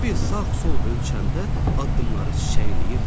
Evi sağ-sol ölçəndə addımları çiçəkləyirdi.